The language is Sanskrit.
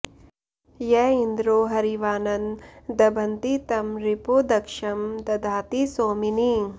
य इन्द्रो हरिवान्न दभन्ति तं रिपो दक्षं दधाति सोमिनि